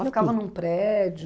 tinha tudo. Ela ficava num prédio?